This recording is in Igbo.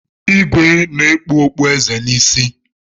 Ìgwè na-ekpu okpu eze n'isi.